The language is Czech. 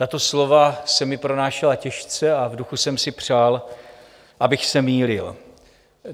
Tato slova se mi pronášela těžce a v duchu jsem si přál, abych se mýlil.